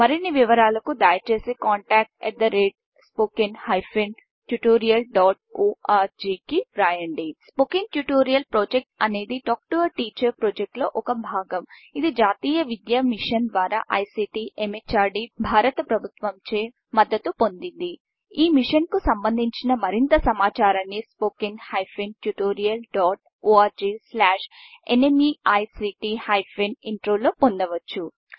మరిన్ని వివరాలకు దయచేసి contactspoken tutorialorg కి వ్రాయండి స్పోకెన్ ట్యుటోరియల్ ప్రాజెక్ట్ అనేది టాక్ టూ టీచర్ ప్రాజెక్ట్ లో ఒక భాగం ఇది జాతీయ విద్య మిషన్ ద్వారా ఐసీటీ ఎంహార్డీ భారత ప్రభుత్వం చే మద్దతు పొందింది ఈ మిషన్కు సంబంధించిన మరింత సమాచారాన్ని spoken hyphen tutorial dot org slash NMEICT hyphen intro లో పొందవచ్చు